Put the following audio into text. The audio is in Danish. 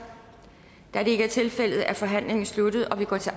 da det ikke er tilfældet er forhandlingen sluttet og vi går til